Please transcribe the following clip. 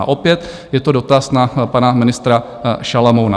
A opět je to dotaz na pana ministra Šalomouna.